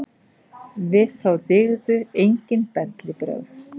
Við þá dygðu enginn bellibrögð.